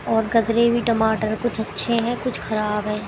और हुए टमाटर कुछ अच्छे हैं कुछ खराब है।